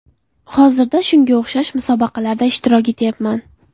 Hozirda shunga o‘xshash musobaqalarda ishtirok etyapman.